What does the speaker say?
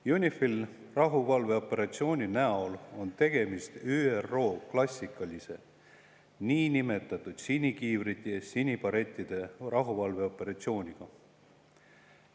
UNIFIL-i rahuvalveoperatsiooni näol on tegemist ÜRO klassikalise niinimetatud sinikiivrite ja sinibarettide rahuvalveoperatsiooniga.